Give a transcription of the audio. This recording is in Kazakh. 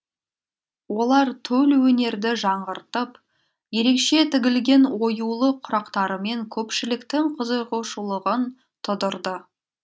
олар төл өнерді жаңғыртып ерекше тігілген оюлы құрақтарымен көпшіліктің қызығушылығын тудырды